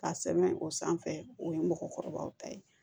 Ka sɛbɛn o sanfɛ o ye mɔgɔkɔrɔbaw ta ye